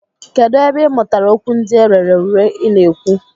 Kedụ ebe ị mụtara okwu ndị a rere ure ị na-ekwu?